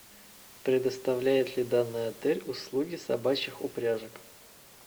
предоставляет ли данный отель услуги собачьих упряжек